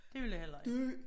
Det ville jeg heller ikke